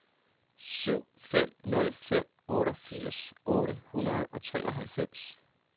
syv fem nul fem otteogfirs otte hundrede og treoghalvfems